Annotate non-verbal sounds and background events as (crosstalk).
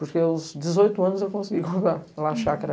Porque aos dezoito anos eu consegui comprar a chácara. (laughs)